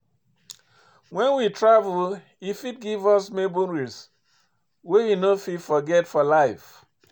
When we travel, e fit give us memories wey we no fit forget for life